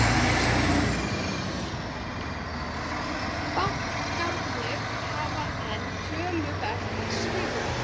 Bankarnir hafa enn töluvert svigrúm